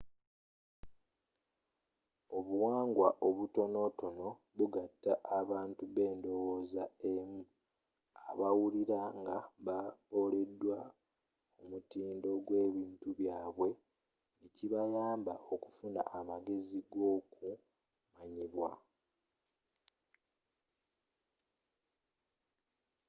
obuwangwa obutonotono bugatta abantu bendowooza emu abawulira nga baboledwa omutindo gw'ebitundu byabwe n'ekibayamba okufuna amagezi gokumayibwa